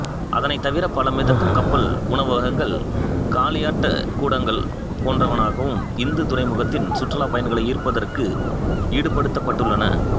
அதனைத்தவிர பல மிதக்கும் கப்பல் உணவகங்கள் களியாட்டக் கூடலங்கள் போன்றனவும் இந்து துறைமுகத்தின் சுற்றுப்பயணிகளை ஈர்ப்பதற்கு ஈடுபடுத்தப்பட்டுள்ளன